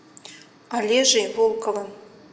олежей волковым